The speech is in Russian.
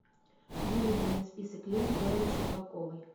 выведи мне список лент беллы щербаковой